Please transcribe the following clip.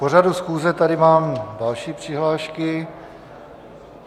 K pořadu schůze tady mám další přihlášky.